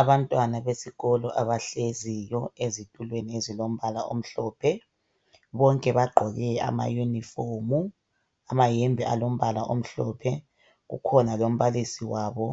Abantwana besikolo abahleziyo ezithulweni ezilombala ezimhlophe, bonke bagqoke amayunifomu, amahembe alombala amhlophe. Kukhona lombalisi wabo